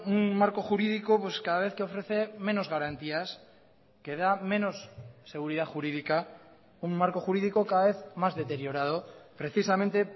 un marco jurídico cada vez que ofrece menos garantías que da menos seguridad jurídica un marco jurídico cada vez más deteriorado precisamente